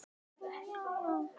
Jason og Medea.